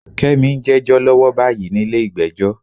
Kẹ́mi ń jẹ́jọ́ lọ́wọ́ báyìí nílé ìgbẹ́jọ́.